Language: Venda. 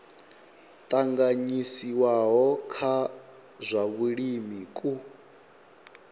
tanganyisiwaho kwa zwa vhulimi ku